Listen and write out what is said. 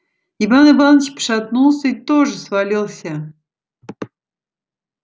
иван иваныч пошатнулся и тоже свалился